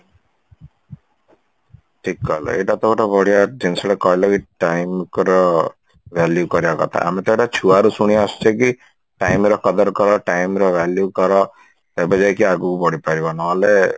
ଠିକ କହିଲ ଏଇଟାତ ଗୋଟେ ବଢିଆ ଜିନିଷଟା କହିଲ କି କି time ର value କରିବା କଥା ଆମେ ତ ଆହୁରି ଛୁଆରୁ ଶୁଣି ଆସୁଛେ କି time ର कदर କର time ର value କର ତେବେ ଯାଇକି ଆଗକୁ ବଢିପାରିବ ନହେଲେ